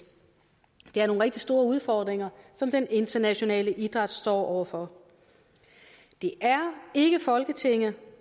det er nogle rigtig store udfordringer som den internationale idræt står over for det er ikke folketinget